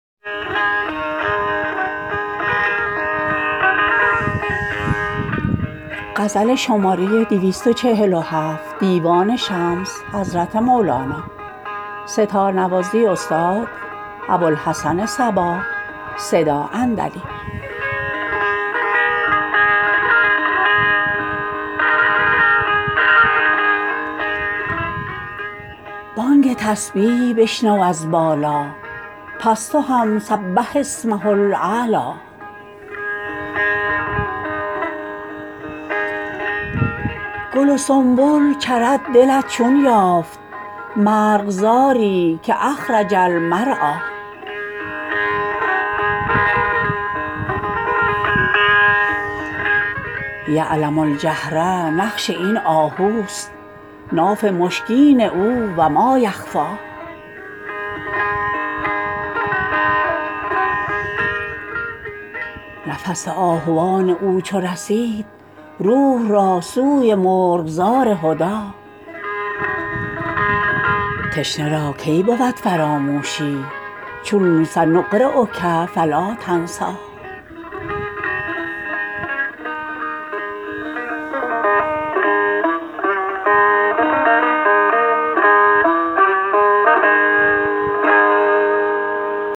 بانگ تسبیح بشنو از بالا پس تو هم سبح اسمه الاعلی گل و سنبل چرد دلت چون یافت مرغزاری که اخرج المرعی یعلم الجهر نقش این آهوست ناف مشکین او و مایخفی نفس آهوان او چو رسید روح را سوی مرغزار هدی تشنه را کی بود فراموشی چون سنقریک فلا تنسی